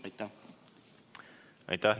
Aitäh!